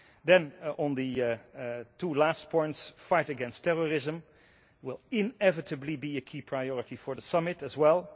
Then on the two last points the fight against terrorism will inevitably be a key priority for the summit as well.